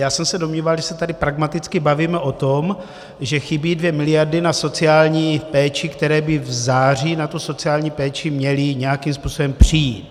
Já jsem se domníval, že se tady pragmaticky bavíme o tom, že chybí dvě miliardy na sociální péči, které by v září na tu sociální péči měly nějakým způsobem přijít.